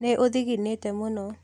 Nĩ ũthinginĩte mũno